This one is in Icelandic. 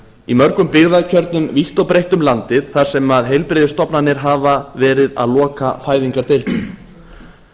í mörgum byggðarkjörnum vítt og breitt um landið þar sem heilbrigðisstofnanir hafa verið að loka fæðingardeildum